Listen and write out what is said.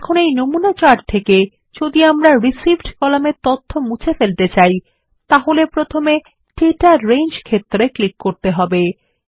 এখন এই নমুনা চার্ট এ যদি আমরা রিসিভড কলামের তথ্য মুছে ফেলতে চাই তাহলে প্রথমে দাতা রেঞ্জ ক্ষেত্র এ ক্লিক করতে হবে